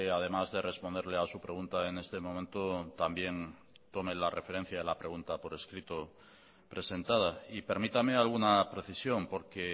además de responderle a su pregunta en este momento también tome la referencia de la pregunta por escrito presentada y permítame alguna precisión porque